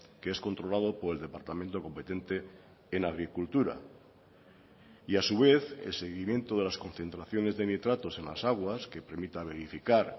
que es controlado por el departamento competente en agricultura y a su vez el seguimiento de las concentraciones de nitratos en las aguas que permita verificar